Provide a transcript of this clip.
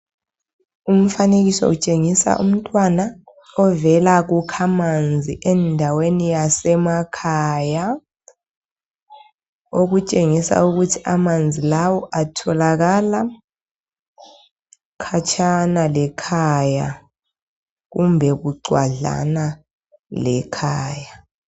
Umfanekiso utshengisa umntwana ovela kukhamanzi endaweni yasemakhaya okutshengisa ukuthi amanzi lawo atholakala khatshana lekhaya kumbe bucwadlana lekhaya